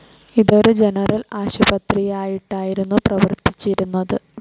ഇതൊരു ജനറൽ ആശുപത്രിയായിട്ടായിരുന്നു പ്രവർത്തിച്ചിരുന്നത്.